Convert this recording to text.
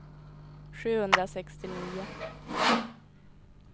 sjuhundrasextionio